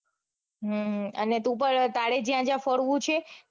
હમ અને તું પણ તારે જ્યાં જ્યાં ફરવું છે.